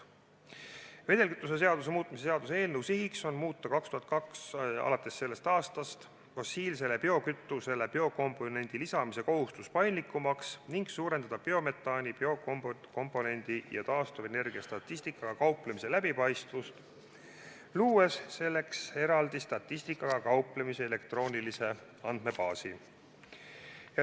Vedelkütuse seaduse muutmise seaduse eelnõu sihiks on muuta alates 2020. aastast fossiilsele biokütusele biokomponendi lisamise kohustus paindlikumaks ning suurendada biometaani, biokomponendi ja taastuvenergia statistikaga kauplemise läbipaistvust, luues selleks eraldi elektroonilise andmebaasi.